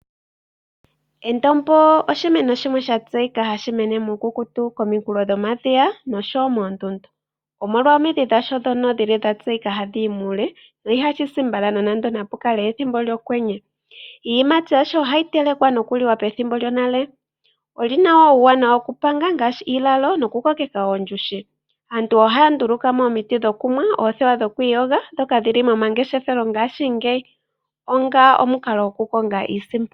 Endombo osho oshimeno sha tseyika nawa hashi meno puukukutu kooha dhomadhiya nosho woo moondundu. omolwa omidhi dhasho dhono dhili dhatseyika nawa hadhi yi muule, dho ihashi shi mbala nande omokwenye. Iiyimati yasho ohayi telekwa nokuli wa pethimbo lyonale. Olyina woo uuwanawa yokupanga ngaashi iilalo nokukokeka omafufu. Aantu ohaya nduluka mo woo omiti shokunwa noothewa dhokwiiyoga dhoka dhili momangeshefelo gongaashingeyi onga omukalo gokukonga iisimpo.